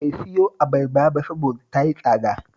Bai siyo abarbar ba saboda ta yi tsada